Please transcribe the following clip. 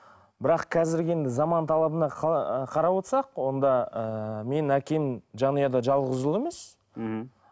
бірақ қазіргі енді заман талабына ы қарап отырсақ онда ыыы менің әкем жанұяда жалғыз ұл емес мхм